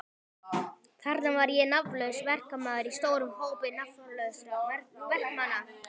Þarna var ég nafnlaus verkamaður í stórum hópi nafnlausra verkamanna.